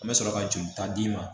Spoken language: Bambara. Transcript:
An bɛ sɔrɔ ka joli ta d'i ma